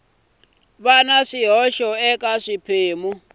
va na swihoxo eka swiphemu